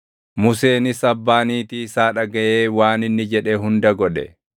Museenis abbaa niitii isaa dhagaʼee waan inni jedhe hunda godhe.